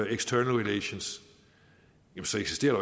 external relations eksisterer